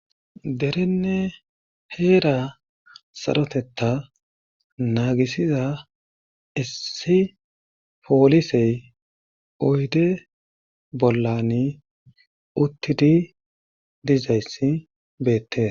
derenne heera sarotetta naagisiza issi poolisey oyde bollani uttidi dizayssi beette